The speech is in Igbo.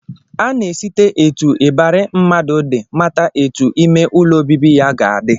A na-esite etu ịbarị mmadụ dị mata etu ime ụlọ obibi ya ga-adị